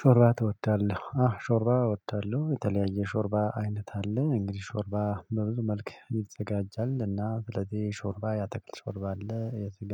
ሾርባ ትወዳለህ? አዎ ሾርባ እወዳለሁ። የተለያየ ሾርባ አይነት አለ። እንግዲህ ሾርባ በብዙ መልክ ይዘጋጃልና ስለዚህ ሾርባ ያአታክልት ሾርባ አለ፤ የስጋ